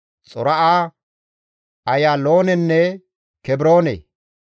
Xora7a, Ayaaloonenne Kebroone.